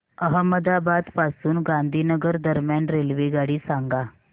अहमदाबाद पासून गांधीनगर दरम्यान रेल्वेगाडी सांगा